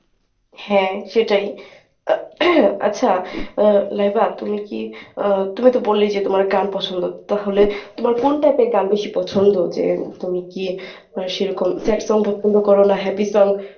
হ্যাঁ সেটাই। আচ্ছা আহ লাইবা তুমি কি আহ তুমি তো বললেই যে তোমার গান পছন্দ তাহলে তোমার কোন type এর গান বেশি পছন্দ যে তুমি কী মানে সেরকম sad song পছন্দ কর না happy song ?